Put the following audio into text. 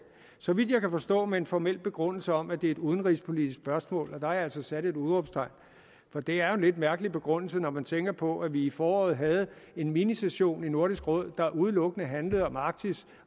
så vidt jeg kan forstå med en formel begrundelse om at det er et udenrigspolitisk spørgsmål og jeg altså sat et udråbstegn for det er jo en lidt mærkelig begrundelse når man tænker på at vi i foråret havde en mini session i nordisk råd der udelukkende handlede om arktis